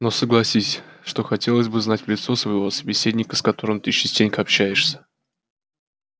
но согласись что хотелось бы знать в лицо своего собеседника с которым ты частенько общаешься